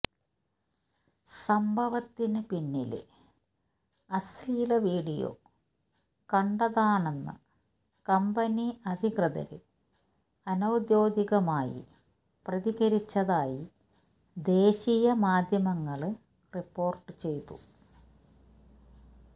സംഭവത്തിന് പിന്നില് അശ്ലീല വീഡിയോ കണ്ടതാണെന്ന് കമ്പനി അധികൃതര് അനൌദ്യോഗികമായി പ്രതികരിച്ചതായി ദേശീയ മാധ്യമങ്ങള് റിപ്പോര്ട്ട് ചെയ്തു